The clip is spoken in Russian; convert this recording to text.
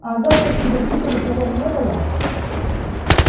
а о завтрашнем барбекю разговора не было